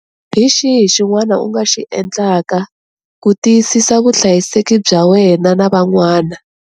Hi xihi xin'wana u nga xi endlaka ku tiyisisa vuhlayiseki bya wena na van'wana?